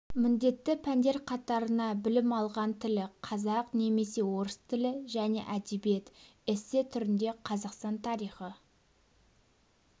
міндетті пәндер қатарына білім алған тілі қазақ немесе орыс тілі және әдебиет эссе түрінде қазақстан тарихы